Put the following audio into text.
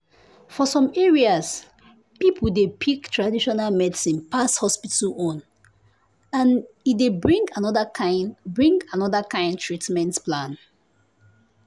for some areas people dey pick traditional medicine pass hospital own and e dey bring another kind bring another kind treatment plan.